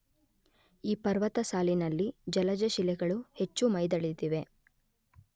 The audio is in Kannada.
ಈ ಪರ್ವತ ಸಾಲಿನಲ್ಲಿ ಜಲಜಶಿಲೆಗಳು ಹೆಚ್ಚು ಮೈದಳೆದಿವೆ.